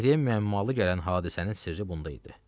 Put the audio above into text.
Leqriyə müəmmalı gələn hadisənin sirri bunda idi.